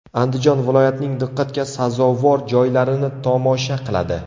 Andijon viloyatining diqqatga sazovor joylarini tomosha qiladi.